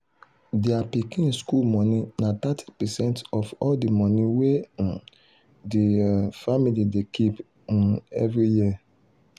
thier pikin school money na thirty percent of all the money wey um the um family dey keep um every year.